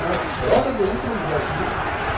вот радуга утром к дождю